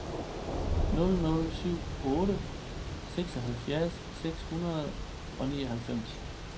nul nul syv otte seksoghalvfjerds seks hundrede og nioghalvfems